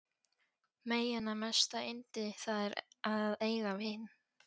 Meyjanna mesta yndi það er að eiga vin.